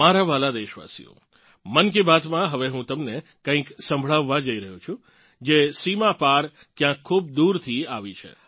મારા વ્હાલાં દેશવાસીઓ મન કી બાત માં હવે હું તમને કંઇક સંભળાવવા જઇ રહ્યો છું જે સીમા પાર ક્યાંક ખૂબ દૂરથી આવી છે